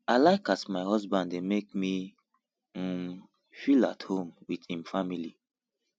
i like as my husband dey make me um feel at home wit im family